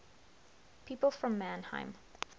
people from mannheim